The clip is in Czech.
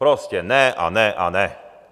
Prostě ne a ne a ne.